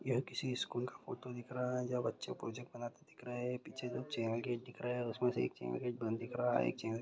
यह किसी स्कूल का फोटो दिख रहा हैजहाँ बच्चे प्रोजेक्ट बनाते दिख रहे हैं पीछे जो चैनल गेट दिख रहा है उसमे से एक चैनल गेट बंद दिख रहा है एक चैनल गेट--